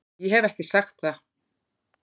Ég hef ekki sagt það!